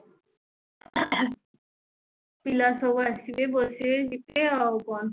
ପିଲା ସବୁ ଆସିବେ ବସିବେ ଯିବେ ଆଉ କଣ